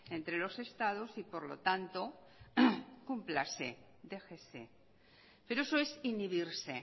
entre los estados y por lo tanto cúmplase déjese pero eso es inhibirse